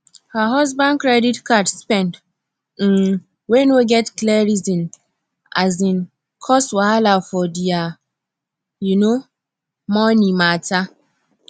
her husband credit card spend um wey no get clear reason um cause wahala for their um money mata